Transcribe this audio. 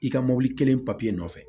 I ka mɔbili kelen papiye nɔfɛ